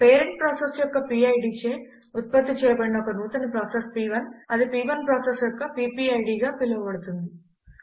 parent process యొక్క PIDచే ఉత్పత్తి చేయబడిన ఒక నూతన ప్రాసెస్ ప్1 అది ప్1 ప్రాసెస్ యొక్క PPIDగా పిలువబడుతుంది